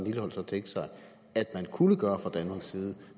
lilleholt så tænke sig at man kunne gøre fra danmarks side